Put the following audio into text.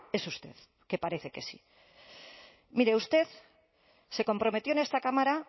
es usted que parece que sí mire usted se comprometió en esta cámara